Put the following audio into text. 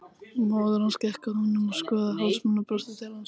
Móðir hans gekk að honum og skoðaði hálsmenið og brosti til hans.